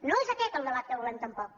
no és aquest el debat que volem tampoc